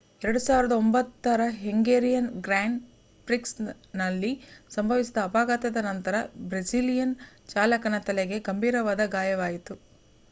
2009 ರ Hungarian grand ಪ್ರಿಕ್ಸ್‌ನಲ್ಲಿ ಸಂಭವಿಸಿದ ಅಪಘಾತದ ನಂತರ ಬ್ರೆಜಿಲಿಯನ್ ಚಾಲಕನ ತಲೆಗೆ ಗಂಭೀರವಾದ ಗಾಯವಾಯಿತು